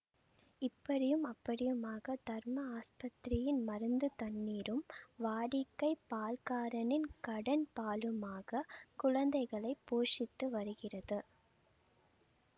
இப்படியும் அப்படியுமாக தர்ம ஆஸ்பத்திரியின் மருந்து தண்ணீரும் வாடிக்கைப் பால்காரனின் கடன் பாலுமாக குழந்தைகளை போஷித்து வருகிறது